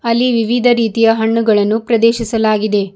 ಅಲ್ಲಿ ವಿವಿಧ ರೀತಿಯ ಹಣ್ಣುಗಳನ್ನು ಪ್ರದೆರ್ಶಿಸಲಾಗಿದೆ.